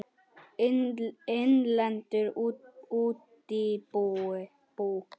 Innlend útibú.